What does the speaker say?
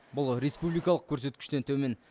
бұл республикалық көрсеткіштен төмен